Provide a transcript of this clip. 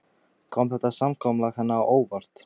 Kom þetta samkomulag henni á óvart?